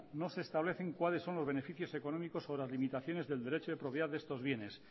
no se establecen cuáles son los beneficios económicos sobre las limitaciones del derecho de propiedad de estos bienes